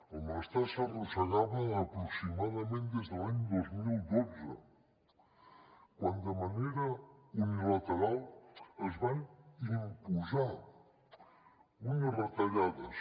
el malestar s’arrossegava aproximadament des de l’any dos mil dotze quan de manera unilateral es van imposar unes retallades